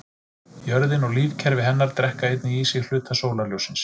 Jörðin og lífkerfi hennar drekka einnig í sig hluta sólarljóssins.